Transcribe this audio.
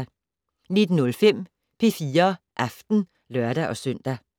19:05: P4 Aften (lør-søn)